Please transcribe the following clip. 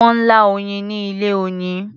Wọ́n lá oyin ni ilé-oyin.